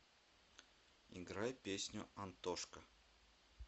играй песню антошка